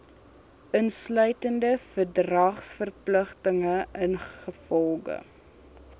insluitend verdragsverpligtinge ingevolge